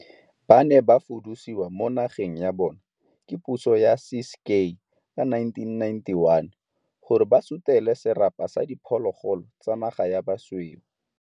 Ba ne ba fudusiwa mo nageng ya bona ke puso ya Ciskei ka 1991, gore ba sutele serapa sa diphologolo tsa naga sa basweu.